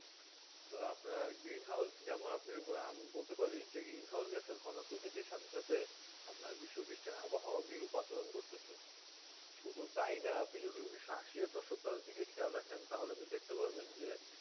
তো আপনার green house যেমন আমি বলতে পারি যে green house ঘনত্ব বিধি সাথে সাথে আপনার বিশ্ববিস্টি আবহাওয়া পাচরণ করতে চে শুধু তাই না তুমি সাহসী দশক দিকে খেয়াল রাখেন তাই দেখতে পারবেন যে